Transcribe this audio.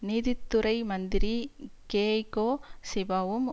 நீதித்துறை மந்திரி கேய்கோ சிபாவும்